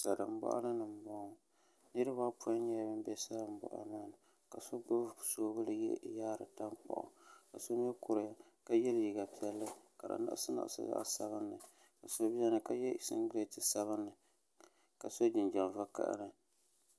Salin boɣali ni n boŋo niraba apoin nyɛla bin bɛ boɣali maa ni ka so gbubi soobuli yihiri tankpaɣu ka so mii kuriya ka yɛ liiga piɛlli ka di liɣisi liɣisi zaɣ sabinli so biɛni ka yɛ singirɛti sabinli ka so jinjɛm vakaɣali